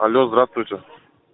алло здравствуйте